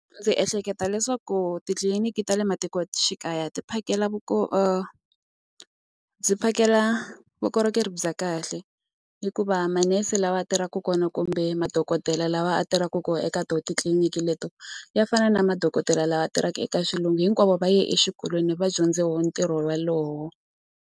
Ndzi ehleketa leswaku titliliniki ta le matikoxikaya ti phakela byi phakela vukorhokeri bya kahle hikuva manese lawa tirhaka kona kumbe madokodela lawa a tirhaka ku eka titliliniki leto ya fana na madokodela lawa tirhaka eka xilungu hinkwavo va ya exikolweni va dyondze woho ntirho wolowo.